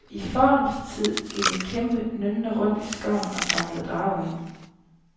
I fordums tid gik en kæmpe nynnende rundt i skoven og samlede drager sammen.